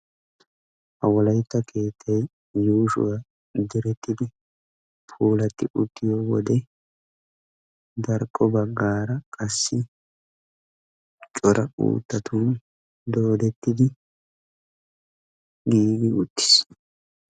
ha wolaytta keette yuushoy direttidi puulati uttiyo wode qassi darkko bagaara qassi daro uttatun giigi uttiis.